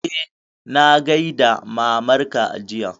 Eh, na gaida mamar ka jiya